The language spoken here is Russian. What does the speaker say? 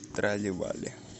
трали вали